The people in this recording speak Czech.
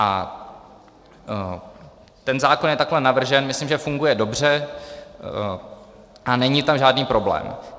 A ten zákon je takhle navržen, myslím, že funguje dobře a není tam žádný problém.